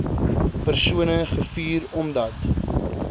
persone gevuur omdat